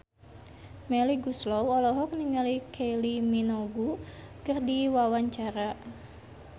Melly Goeslaw olohok ningali Kylie Minogue keur diwawancara